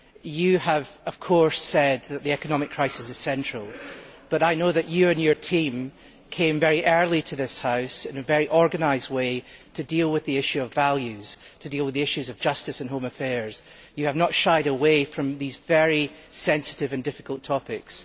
You have said that the economic crisis is central, but I know that you and your team came very early to this House in a very organised way to deal with the issue of values, to deal with the issues of justice and home affairs. You have not shied away from these very sensitive and difficult topics.